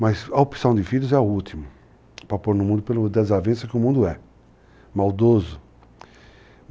Mas a opção de filhos é a última, para pôr no mundo pelo desavenço que o mundo é, maldoso.